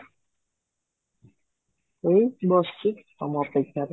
ଏଇ ବସିଛି ତମ ଅପେକ୍ଷାରେ